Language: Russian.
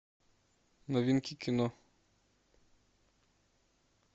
новинки кино